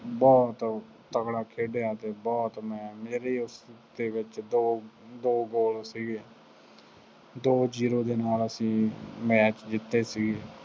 ਬਹੁਤ ਤਕੜਾ ਖੇਡਿਆ ਅਤੇ ਬਹੁਤ ਮੈਂ, ਮੇਰੀ ਉਸ favor ਚ ਦੋ ਦੋ ਗੋਲ ਸੀਗੇ, ਦੋ zero ਦੇ ਨਾਲ ਅਸੀਂ ਮੈਚ ਜਿੱਤੇ ਸੀਗੇ।